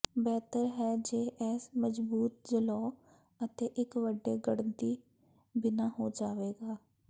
ਬਿਹਤਰ ਹੈ ਜੇ ਇਹ ਮਜ਼ਬੂਤ ਜਲੌਅ ਅਤੇ ਇੱਕ ਵੱਡੇ ਗੱਡਣੀ ਬਿਨਾ ਹੋ ਜਾਵੇਗਾ